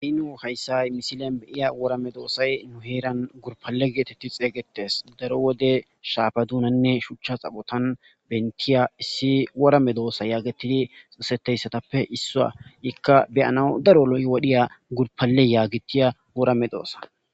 heynoo hayssay misile beyiya worame doosay nu heeran gurpale geetetti xeygetes daro wode shaabadunanne shuchcha xaphotan bentiya issi worame doossa yaagatidi xisetteyssatappe issua ikka beyana daro loyi wodhiya gurpaleyaagitiya worame doossa